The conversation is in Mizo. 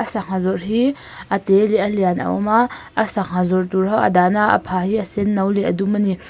a sangha zawrh hi a te leh a lian a awm a a sangha zawrh tur ho a dah na a a pha hi a sen no leh a dum a ni.